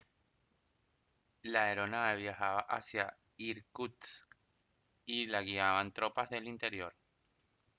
la aeronave viajaba hacia irkutsk y la guiaban tropas del interior